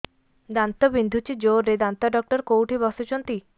ଦାନ୍ତ ବିନ୍ଧୁଛି ଜୋରରେ ଦାନ୍ତ ଡକ୍ଟର କୋଉଠି ବସୁଛନ୍ତି